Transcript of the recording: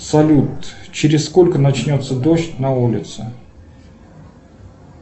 салют через сколько начнется дождь на улице